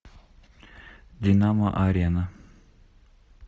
динамо арена